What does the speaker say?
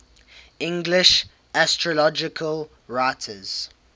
english astrological writers